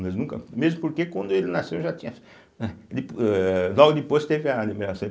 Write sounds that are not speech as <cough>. Mas nunca, mesmo porque quando ele nasceu já tinha <breath> âh logo depois teve a liberação.